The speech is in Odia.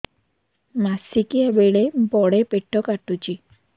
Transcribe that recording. ମାସିକିଆ ବେଳେ ବଡେ ପେଟ କାଟୁଚି